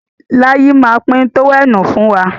Láyí má pín tówẹ́ẹ̀nù fún wa.